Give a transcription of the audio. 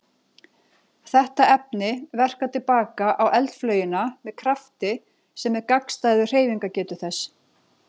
Þetta efni verkar til baka á eldflaugina með krafti sem er gagnstæður hreyfingarstefnu þess.